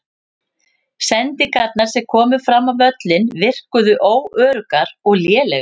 Sendingarnar sem komu fram á völlinn virkuðu óöruggar og lélegar.